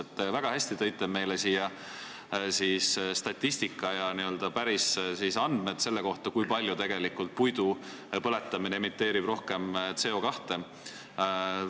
Te väga hästi esitasite meile statistikat ja andmeid selle kohta, kui palju tegelikult puidu põletamine emiteerib rohkem CO2.